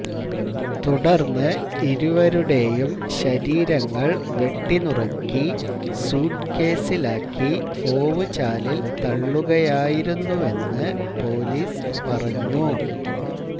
തുടർന്ന് ഇരുവരുടെയും ശരീരങ്ങൾ വെട്ടിനുറുക്കി സ്യൂട്ട്കേസിലാക്കി ഓവു ചാലില് തള്ളുകയുമായിരുന്നുവെന്ന് പൊലീസ് പറഞ്ഞു